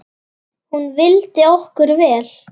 Hún vildi okkur vel.